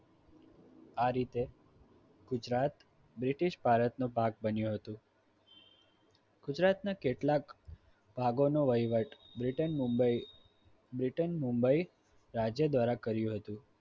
આ રીતે ગુજરાત બ્રિટિશ ભારત નો ભાગ બન્યું હતો ગુજરાતના કેટલાક ભાગોનો વહીવટ બ્રિટન મુંબઇ બ્રિટન મુંબઇ રાજ્ય દ્વારા કર્યું હતું